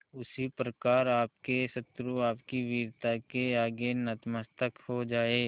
उसी प्रकार आपके शत्रु आपकी वीरता के आगे नतमस्तक हो जाएं